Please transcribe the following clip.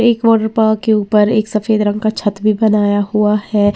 एक water park के ऊपर एक सफेद रंग का छत भी बनाया हुआ है।